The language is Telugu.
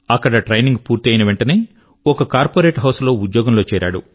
అక్కడ ట్రైనింగ్ పూర్తి అయిన వెంటనే ఒక కార్పొరేట్ హౌస్ లో ఉద్యోగం లో చేరాడు